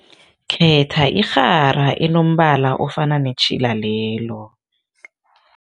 Khetha irhara enombala ofana netjhila lelo.